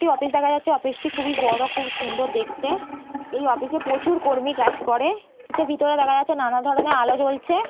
একটি অফিস দেখা যাচ্ছে অফিস -টি খুব বড় খুব সুন্দর দেখতে। এই অফিস -এ প্রচুর কর্মী কাজ করে অফিস -এর ভিতরে দেখা যাচ্ছে নানা ধরনের আলো জ্বলছে ।